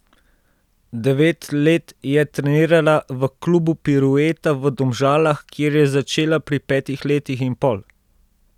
Devet let je trenirala v klubu Pirueta v Domžalah, kjer je začela pri petih letih in pol.